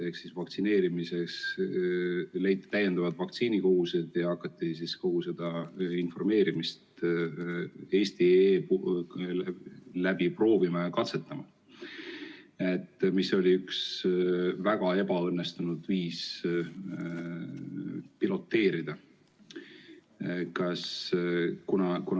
Vaktsineerimiseks leiti täiendavad vaktsiinikogused ja hakati kogu seda informeerimist eesti.ee abil proovima ja katsetama, ent see oli üks väga ebaõnnestunud viis piloteerida.